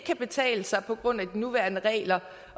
kan betale sig på grund af de nuværende regler